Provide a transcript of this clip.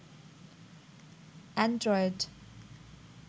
Android